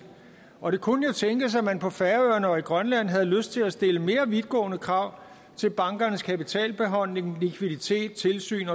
og det kunne jo tænkes at man på færøerne og i grønland havde lyst til at stille mere vidtgående krav til bankernes kapitalbeholdning likviditet tilsyn